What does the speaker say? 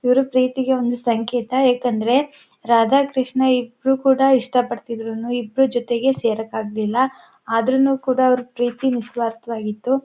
ಇವರು ಪ್ರೀತಿಗೆ ಒಂದು ಸಂಕೇತ ಏಕೆಂದ್ರೆ ರಾಧಾ ಕೃಷ್ಣ ಇಬ್ಬರು ಕೂಡ ಇಷ್ಟಪಡ್ತಿದ್ರೂನು ಇಬ್ಬರು ಜೊತೆಗೆ ಸೇರಕ್ಕೆ ಆಗಲಿಲ್ಲ ಆದ್ರೂನು ಕೂಡ ಅವರ ಪ್ರೀತಿ ನಿಸ್ವಾರ್ಥವಾಗಿತು.